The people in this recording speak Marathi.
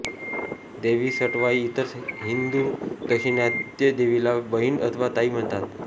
देवी सटवाई इतर हिंदू दाक्षिणात्य देवीला बहिण अथवा ताई म्हणतात